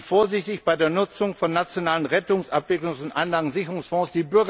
Seien Sie vorsichtig bei der Nutzung von nationalen Rettungs Abwicklungs und Einlagensicherungsfonds.